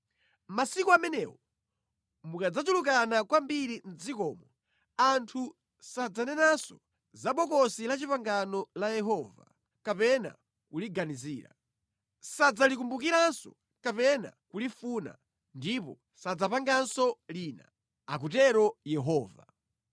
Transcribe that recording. Masiku amenewo mukadzachulukana kwambiri mʼdzikomo, anthu sadzanenanso za ‘Bokosi la Chipangano la Yehova’ kapena kuliganizira. Sadzalikumbukiranso kapena kulifuna, ndipo sadzapanganso lina,” akutero Yehova.